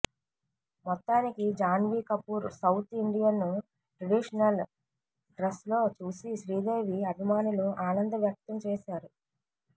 మొత్తానికి Janhvi Kapoor south Indian traditional డ్రస్లో చూసి శ్రీదేవి అభిమానులు ఆనంద వ్యక్తం చేస్తున్నారు